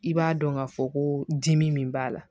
I b'a dɔn ka fɔ ko dimi min b'a la